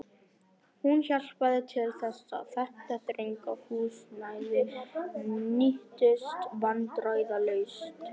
Hún hjálpaði til þess, að þetta þrönga húsnæði nýttist vandræðalaust.